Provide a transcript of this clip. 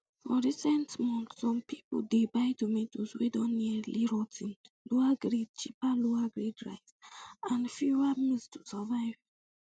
for recent months some um pipo dey buy tomatoes wey don nearly rot ten cheaper lowergrade cheaper lowergrade rice and um fewer meals to survive